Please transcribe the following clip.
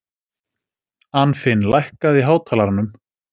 Anfinn, lækkaðu í hátalaranum.